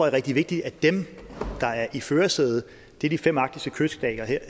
er rigtig vigtigt at dem der er i førersædet er de fem arktiske kyststater